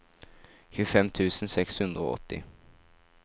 tjuefem tusen seks hundre og åtti